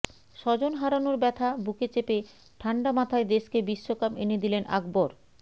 স্বজন হারানোর ব্যাথা বুকে চেপে ঠান্ডা মাথায় দেশকে বিশ্বকাপ এনে দিলেন আকবর